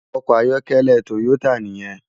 Òkò àyòkèlè Toyota niyèn